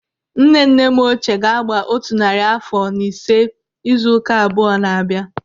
Nne nne m ochie ga-agba otu narị àfọ na ise izu ụka abụọ n'abia.